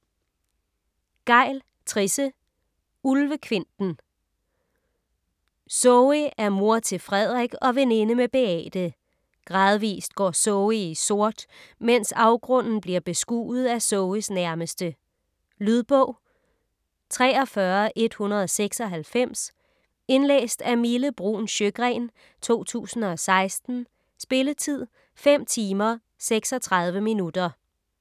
Gejl, Trisse: Ulvekvinten Zoe er mor til Frederik og veninde med Beate. Gradvist går Zoe i sort, mens afgrunden bliver beskuet af Zoes nærmeste. Lydbog 43196 Indlæst af Mille Bruun Sjøgren, 2016. Spilletid: 5 timer, 36 minutter.